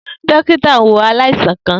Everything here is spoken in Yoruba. Dokita n wo alaisan kan.